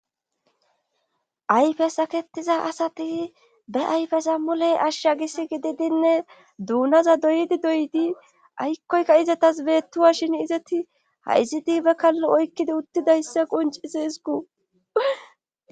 ayfes sakettiza asati be ayfes ammuley ashsha gis gididinne duunaza doyidi doyidi aykkoyka izetas beettuwa shin izeti ha iziti hbe kallo oykkidi uttidayssa quncizi izgu